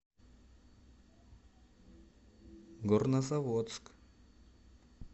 горнозаводск